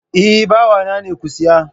Eh, bawa na ne, ku siya